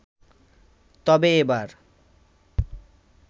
তবে এবার